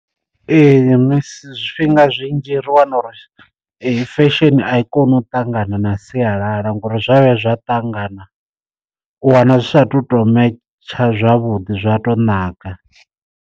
Ee misi zwifhinga zwinzhi ri wana uri eyi fesheni a i koni u ṱangana na sialala ngori zwa vhuya zwa ṱangana u wana zwi sa tu to metsha zwavhuḓi zwa to naka.